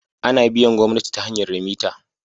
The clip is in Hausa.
Ana biyan gomnati ta hanyar remita